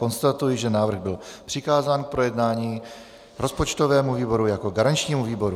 Konstatuji, že návrh byl přikázán k projednání rozpočtovému výboru jako garančnímu výboru.